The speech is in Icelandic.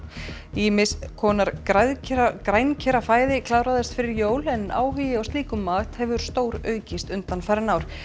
ýmiss konar kláraðist fyrir jól en áhugi á slíkum mat hefur stóraukist undanfarin ár